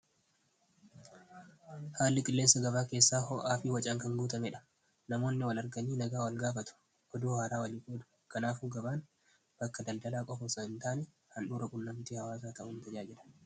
haalli qilleessa gabaa keessaa ho, afii wacaan kan guutameedha namoonni wal arganii nagaa wal gaafatu ddu haaraa walii qoou kanaafuu gabaan bakka daldalaa qofo oso hin taanii handhuura qunnamtii hawaasa taa'uin tajaajila